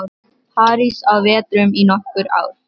París á vetrum í nokkur ár.